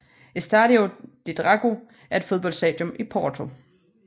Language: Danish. Estádio do Dragão er et fodboldstadium i Porto